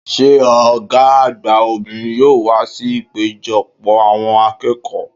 Sé Ògá àgbà obìnrin yóò wá sí ìpéjopò àwon akéèkòó ?'